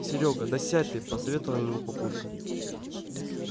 серёга да сядь ты посоветовал ему папулька